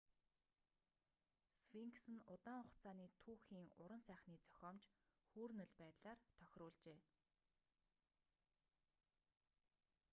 сфинкс нь удаан хугацааны түүхийн уран сайхны зохиомж хүүрнэл байдлаар тохируулжээ